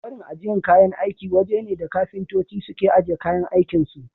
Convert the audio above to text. Akwarin ajiyan kayan aiki waje ne da kafintoci suke ajiye kayan aikin su.